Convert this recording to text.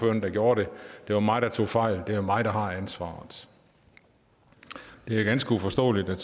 mig der gjorde det det var mig der tog fejl og det er mig der har ansvaret det er ganske uforståeligt at